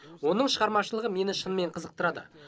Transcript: оның шығармашылығы мені шынымен қызықтырады